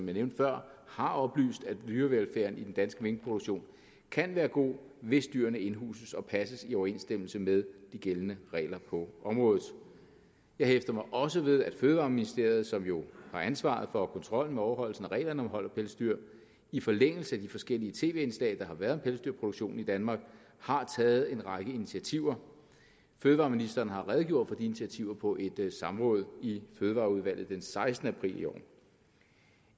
jeg nævnte før har oplyst at dyrevelfærden i den danske minkproduktion kan være god hvis dyrene indhuses og passes i overensstemmelse med de gældende regler på området jeg hæftede mig også ved at fødevareministeriet som jo har ansvaret for og kontrollen med overholdelsen af reglerne om hold af pelsdyr i forlængelse af de forskellige tv indslag der har været om pelsdyrproduktionen i danmark har taget en række initiativer fødevareministeren har redegjort for de initiativer på et samråd i fødevareudvalget den sekstende april i år